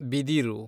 ಬಿದಿರು